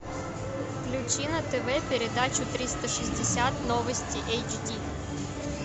включи на тв передачу триста шестьдесят новости эйч ди